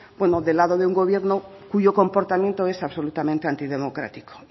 bueno de lado de un gobierno cuyo comportamiento es absolutamente antidemocrático